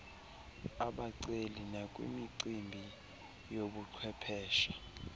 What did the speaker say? abaceli nakwimicimbi yobuchwephesha